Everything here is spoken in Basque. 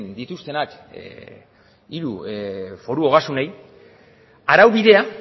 dituztenak hiru foru ogasunei araubidea